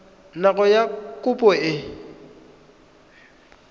nako ya fa kopo e